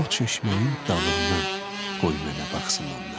O çeşməyin dalından qoy mənə baxsın onlar.